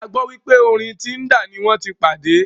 A gbọ́ wípé orí Tinder ní wọ́n tí pàdé.